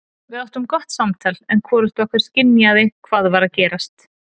Við áttum gott samtal en hvorugt okkar skynjaði hvað var að gerast.